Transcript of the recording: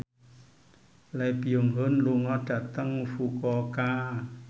Lee Byung Hun lunga dhateng Fukuoka